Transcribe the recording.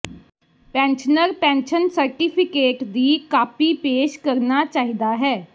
pensioner pension certificate ਦੀ copy ਪੇਸ਼ ਕਰਨਾ ਚਾਹੀਦਾ ਹੈ